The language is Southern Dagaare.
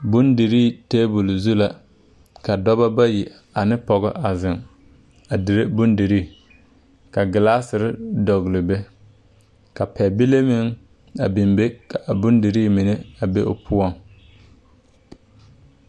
Bondirii tabol zu la ka dɔbɔ bayi ane pɔgɔ a zeŋ a dire bondirii ka glaaserre dɔgle be ka pɛbile meŋ a biŋ be ka bondirii mine a be o poɔŋ.